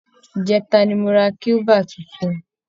ìjẹta ni mo ra kílíbà tuntun